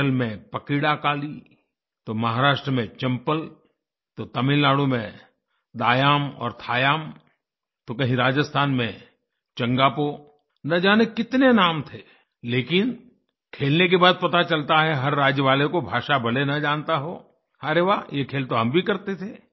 केरल में पकीड़ाकाली तो महाराष्ट्र में चम्पल तो तमिलनाडु में दायाम और थायाम तो कहीं राजस्थान में चंगापो न जाने कितने नाम थे लेकिन खेलने के बाद पता चलता है हर राज्य वाले को भाषा भले न जानता हो अरे वाह ये खेल तो हम भी करते थे